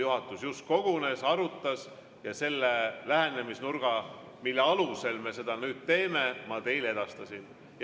Juhatus just kogunes, arutas ja selle lähenemisnurga, mille alusel me seda nüüd teeme, ma teile edastasin.